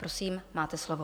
Prosím, máte slovo.